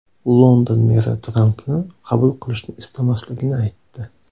London meri Trampni qabul qilishni istamasligini aytdi.